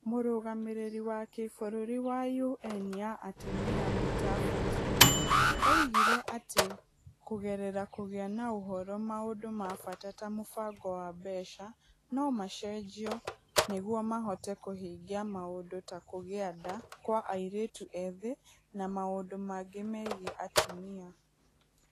Mũrũgamĩrĩri wa kĩbũrũri wa ũN ya atumia Mutavati oigire atĩ kũgerera kũgĩa na ũhoro, maũndũ ma bata ta mũbango wa mbeca, no macenjio nĩguo mahote kũhingia maũndũ ta kũgĩa nda kwa airĩtu ethĩ na maũndũ mangĩ megiĩ atumia.